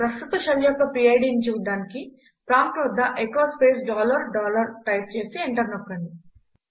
ప్రస్తుత షెల్ యొక్క PIDని చూడటానికి ప్రాంప్ట్ వద్ద echo space dollar dollar type చేసి ఎంటర్ నొక్కండి